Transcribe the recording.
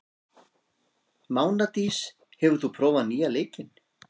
Mánadís, hefur þú prófað nýja leikinn?